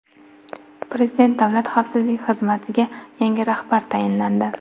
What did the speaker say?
Prezident Davlat xavfsizlik xizmatiga yangi rahbar tayinlandi.